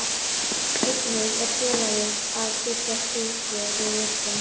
Einnig er félagið að byggja stúku við völlinn.